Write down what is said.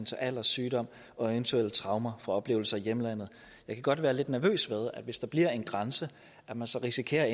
til alder sygdom og eventuelle traumer fra oplevelser i hjemlandet jeg kan godt være lidt nervøs ved hvis der bliver en grænse at man så risikerer